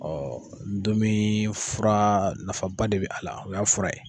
ndomi fura nafaba de bɛ a la o y'a fura ye.